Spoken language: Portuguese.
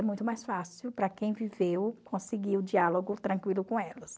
É muito mais fácil para quem viveu conseguir o diálogo tranquilo com elas.